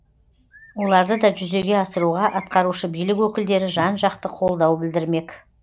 оларды да жүзеге асыруға атқарушы билік өкілдері жан жақты қолдау білдірмек